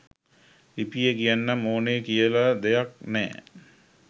ලිපියේ කියන්නම ඕනේ දෙයක් කියලා නැ